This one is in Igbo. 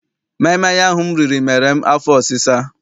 Maịmaị ahụ m riri mere m afọ ọsisa.